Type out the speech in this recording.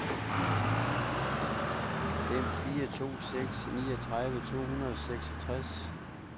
fem fire to seks niogtredive to hundrede og seksogtres